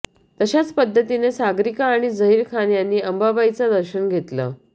तशाच पद्धतीनं सागरिका आणि झहीर खान यांनी अंबाबाईचं दर्शन घेतलं